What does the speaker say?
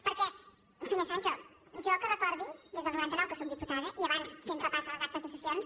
perquè senyor sancho jo que recordi des del noranta nou que sóc diputada i abans fent repàs a les actes de sessions